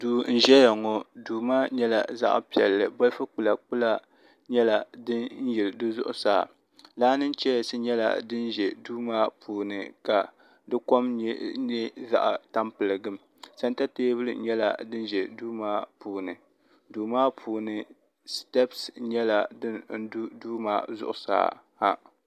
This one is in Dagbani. do n ʒɛya ŋɔ do maa nyɛla zaɣ' piɛli ka tukpɛla kpɛla nyɛla din yɛli di zuɣ' saa laanichɛyasi ka dikom zaɣ' tamibɛligim sanita tɛbuli nyɛla din ʒɛ do maa puuni do maa puuni sitɛbisi nyɛla din do do maa zuɣ' saa ha